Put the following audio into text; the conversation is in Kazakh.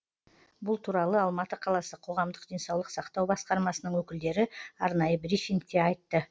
бұл туралы алматы қаласы қоғамдық денсаулық сақтау басқармасының өкілдері арнайы брифингте айтты